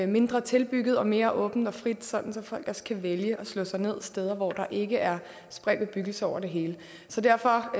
mindre tilbygget og mere åbent og frit sådan at folk også kan vælge at slå sig ned steder hvor der ikke er spredt bebyggelse over det hele så derfor